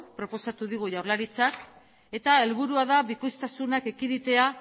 proposatu digu jaurlaritzak eta helburua da bikoiztasunak ekiditea